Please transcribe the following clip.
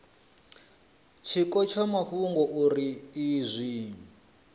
tshiko tsha mafhungo uri izwi